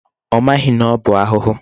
Ọ maghị na ọ bụ arụrụ.